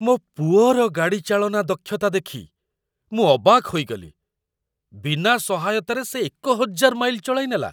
ମୋ ପୁଅର ଗାଡ଼ି ଚାଳନା ଦକ୍ଷତା ଦେଖି ମୁଁ ଅବାକ୍ ହୋଇଗଲି! ବିନା ସହାୟତାରେ ସେ ୧୦୦୦ ମାଇଲ ଚଳାଇନେଲା!